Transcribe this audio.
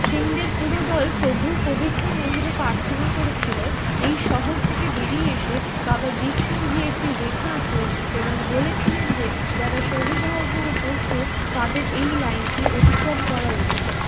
সিং দের পুরো দল প্রভুর পবিত্র মন্দিরে প্রার্থনা করেছিল এই শহর থেকে বেরিয়ে এসে বাবা দীপসিং জি একটি রেখা আঁকলেন এবং বলেছিলেন যে যারা শহীদ হওয়ার জন্য প্রস্তুত তাদের এই লাইনটি অতিক্রম করা উচিত।